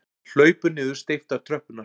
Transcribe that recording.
Við hlaupum niður steyptar tröppurnar.